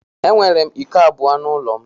Enwere m iko abụọ n'ụlọ m.